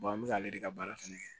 an bɛ k'ale de ka baara fɛnɛ kɛ